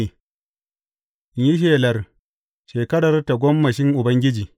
In yi shelar shekarar tagomashin Ubangiji.